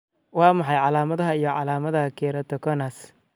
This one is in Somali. Waa maxay calaamadaha iyo calaamadaha Keratoconus?